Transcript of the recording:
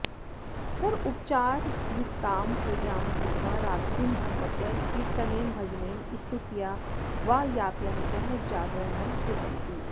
सर्वोपचारयुक्तां पूजां कृत्वा रात्रिं भगवतः कीर्तनेन भजनेन स्तुत्या वा यापयन्तः जागरणं कुर्वन्ति